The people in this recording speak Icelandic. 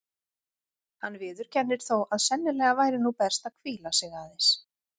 Hann viðurkennir þó að sennilega væri nú best að hvíla sig aðeins.